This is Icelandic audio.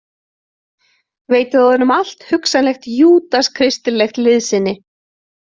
Veitið honum allt hugsanlegt júdas- kristilegt liðsinni.